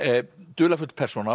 dularfull persóna